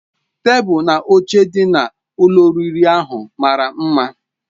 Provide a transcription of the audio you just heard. Tebụl na oche ndị dị na ụlọ oriri ahụ mara mma.